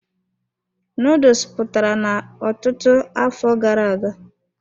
Nuduls pụtara n'ọtụtụ afọ gara aga.